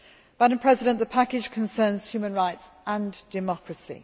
Madam President, the package concerns human rights and democracy.